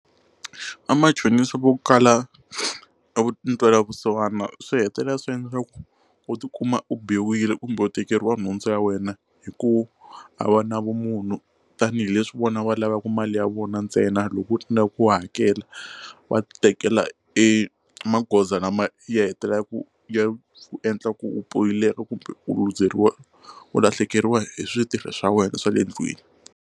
Vamachonisa vo kala ntwela vusiwana swi hetelela swi endla ku u ti kuma u biwile kumbe u tikeriwa nhundzu ya wena hi ku a va na vumunhu tanihileswi vona va lavaku mali ya vona ntsena loko u tsandzeka ku hakela va tekela e magoza lama ya hetelela ku ya endla ku u pfumeleka kumbe u luzekeriwa u lahlekeriwa hi switirho swa wena swa le ndlwini.